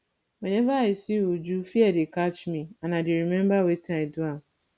whenever i see uju fear dey catch me and i dey remember wetin i do am